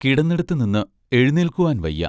കിടന്നിടത്തുനിന്ന് എഴുന്നേൽക്കുവാൻ വയ്യ.